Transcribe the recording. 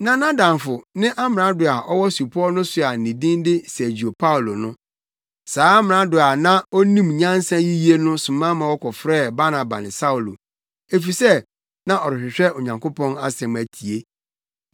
Na nʼadamfo ne amrado a ɔwɔ supɔw no so a ne din de Sergio Paulo no. Saa amrado a na onim nyansa yiye no soma ma wɔkɔfrɛɛ Barnaba ne Saulo, efisɛ na ɔrehwehwɛ Onyankopɔn asɛm atie.